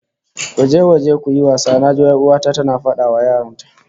"Go out and play", I can hear my sister ordering her kids